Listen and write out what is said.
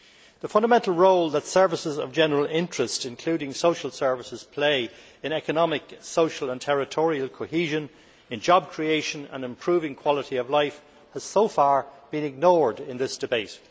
The fundamental role that services of general interest, including social services, play in economic, social and territorial cohesion, in job creation and improving quality of life, has so far been ignored in this debate.